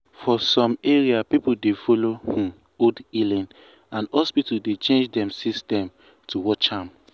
for some area people dey follow um old um healing and hospital dey change dem system to match am.